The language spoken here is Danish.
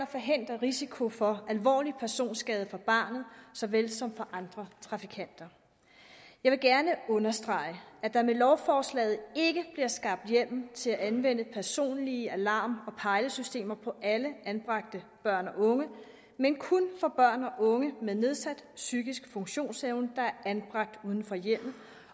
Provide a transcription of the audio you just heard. forhindres risiko for alvorlig personskade for barnet såvel som for trafikanter jeg vil gerne understrege at der med lovforslaget ikke bliver skabt hjemmel til at anvende personlige alarm pejlesystemer på alle anbragte børn og unge men kun på børn og unge med nedsat psykisk funktionsevne der er anbragt uden for hjemmet